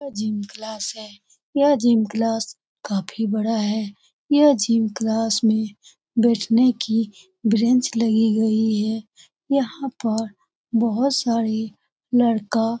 यह gym class है । यह जिम क्लास काफी बड़ा है । यह जिम क्लास में बैठने की बेंच लगी गई है । यहाँ पर बोहोत सारे लडका --